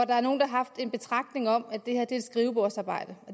der er nogle der har haft en betragtning om at det her er et skrivebordsarbejde